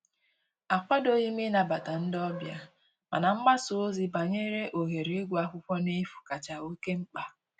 Akwadoghị m ịnabata ndị ọbịa, mana mgbasa ozi banyere ohere ịgụ akwụkwọ n'efu kacha oke mkpa